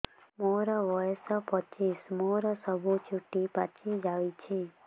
ମୋର ବୟସ ପଚିଶି ମୋର ସବୁ ଚୁଟି ପାଚି ଯାଇଛି